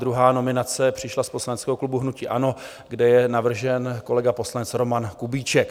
Druhá nominace přišla z poslaneckého klubu hnutí ANO, kde je navržen kolega poslanec Roman Kubíček.